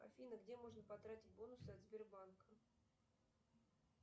афина где можно потратить бонусы от сбербанка